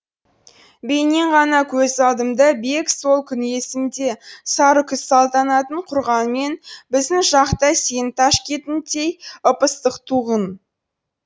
бейнең ғана көз алдымда бек сол күн есімде сары күз салтанатын құрғанмен біздің жақ та сенің ташкентіңдей ып ыстық туғын